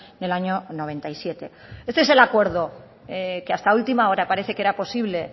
del año noventa y siete este es el acuerdo que hasta última hora parece que era posible